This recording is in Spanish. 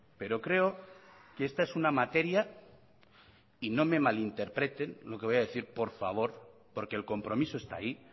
pero creo que esta es una materia y no me malinterpreten lo que voy a decir por favor porque el compromiso está ahí